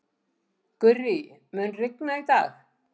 Gurrí, mun rigna í dag?